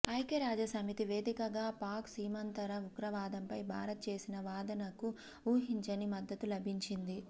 ఐక్యరాజ్యసమితి వేదికగా పాక్ సీమాంతర ఉగ్రవాదంపై భారత్ చేసిన వాదనకు ఊహించని మద్దతు లభించింది